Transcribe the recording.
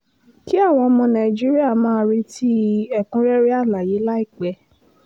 kí àwọn ọmọ nàìjíríà máa retí ẹ̀kúnrẹ́rẹ́ àlàyé láìpẹ́